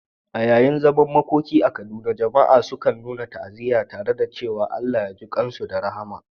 A yayin zaman makoki a Kaduna, jama'a sukan nuna ta'aziyya tare da cewa "Allah ya jikan su da rahama."